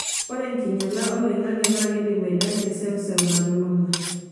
Ore enkinyala oloing'ange naa keidim aidakie seuseu nalulung'a.